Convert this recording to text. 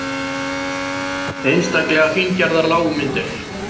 Einstaklega fíngerðar lágmyndir.